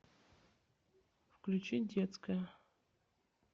включи детская